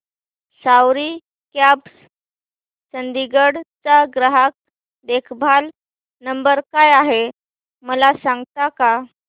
सवारी cabs Chandigarh चा ग्राहक देखभाल नंबर काय आहे मला सांगता का